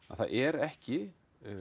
að það er ekki